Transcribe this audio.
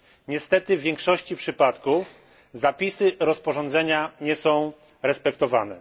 Niestety, w większości przypadków zapisy rozporządzenia nie są respektowane.